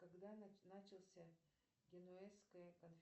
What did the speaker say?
когда начался генуэзская